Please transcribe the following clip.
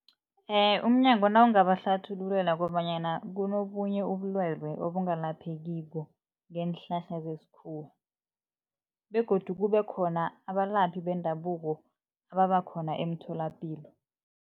Umnyango nawungabahlathululela kobanyana, kunobunye ubulwelwe obungalaphekiko ngeenhlahla zesikhuwa begodu kube khona abalaphi bendabuko ababa khona emtholapilo.